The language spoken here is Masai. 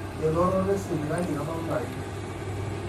elototo esipitali itodolu ilarin